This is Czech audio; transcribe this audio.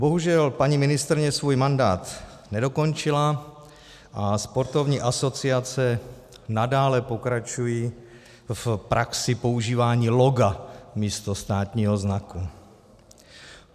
Bohužel paní ministryně svůj mandát nedokončila a sportovní asociace nadále pokračují v praxi používání loga místo státního znaku.